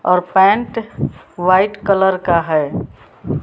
और pant white colour का है।